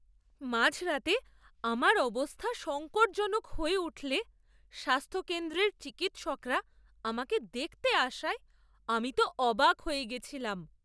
মাঝরাতে আমার অবস্থা সঙ্কটজনক হয়ে উঠলে স্বাস্থ্যকেন্দ্রের চিকিৎসকরা আমাকে দেখতে আসায় আমি তো অবাক হয়ে গেছিলাম!